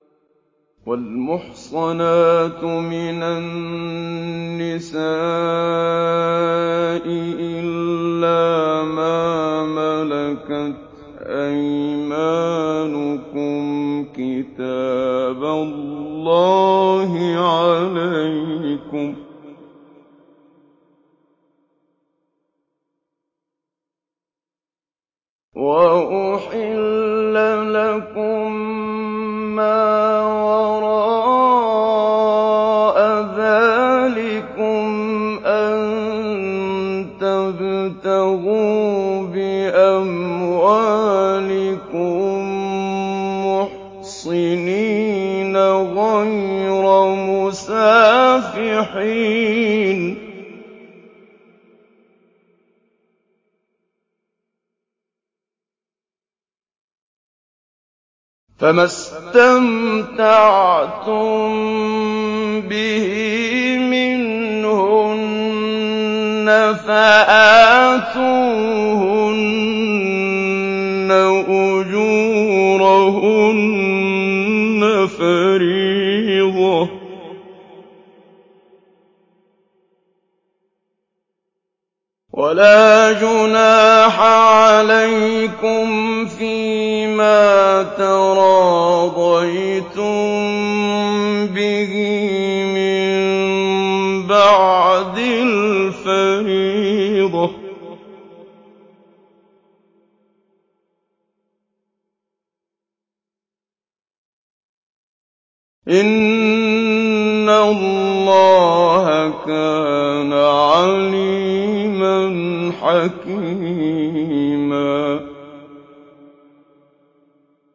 ۞ وَالْمُحْصَنَاتُ مِنَ النِّسَاءِ إِلَّا مَا مَلَكَتْ أَيْمَانُكُمْ ۖ كِتَابَ اللَّهِ عَلَيْكُمْ ۚ وَأُحِلَّ لَكُم مَّا وَرَاءَ ذَٰلِكُمْ أَن تَبْتَغُوا بِأَمْوَالِكُم مُّحْصِنِينَ غَيْرَ مُسَافِحِينَ ۚ فَمَا اسْتَمْتَعْتُم بِهِ مِنْهُنَّ فَآتُوهُنَّ أُجُورَهُنَّ فَرِيضَةً ۚ وَلَا جُنَاحَ عَلَيْكُمْ فِيمَا تَرَاضَيْتُم بِهِ مِن بَعْدِ الْفَرِيضَةِ ۚ إِنَّ اللَّهَ كَانَ عَلِيمًا حَكِيمًا